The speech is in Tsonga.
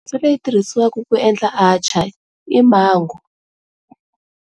fanele ku tirhisiwaku ku endla atchaar i Mango.